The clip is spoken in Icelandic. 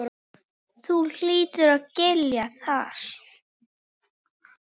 Þú hlýtur að skilja það.